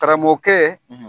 Karamɔgɔkɛ